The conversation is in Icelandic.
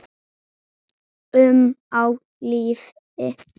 um á lífi.